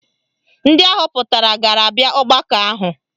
Ndị ahọpụtara ga-abịa ọgbakọ ahụ